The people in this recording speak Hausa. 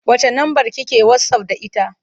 Wacce lambar ki ke wasaf da ita?